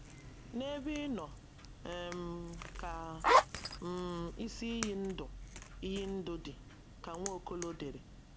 “ N’ebe Ị nọ um ka um isi iyi ndụ iyi ndụ dị, ” ka Nwaokolo dere.